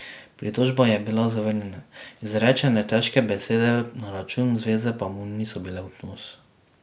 Pritožba je bila zavrnjena, izrečene težke besede na račun zveze pa mu niso bile v ponos.